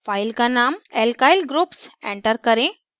file का name alkyl groups enter करें